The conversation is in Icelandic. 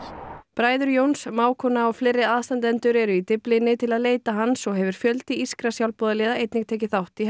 bræður Jóns mágkona og fleiri aðstandendur eru í Dyflinni til að leita hans og hefur fjöldi írskra sjálfboðaliða einnig tekið þátt í